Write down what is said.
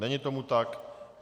Není tomu tak.